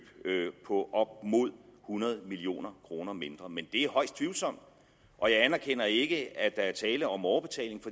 på op mod hundrede million kroner mindre men er højst tvivlsomt og jeg anerkender ikke at der er tale om overbetaling